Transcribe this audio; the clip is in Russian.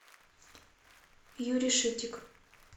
юрий шитик